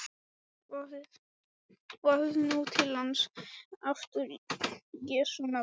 Vaðið nú til lands aftur í Jesú nafni.